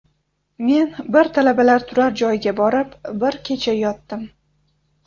Men bir talabalar turar joyiga borib, bir kecha yotdim.